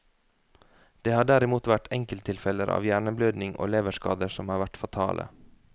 Det har derimot vært enkelttilfeller av hjerneblødning og leverskader som har vært fatale.